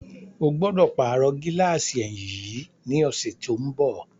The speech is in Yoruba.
Ó gbọ́dọ̀ pàrọ̀ gíláàsì ẹ̀yìn yìí ní ọ̀sẹ̀ tí ó ń bọ̀.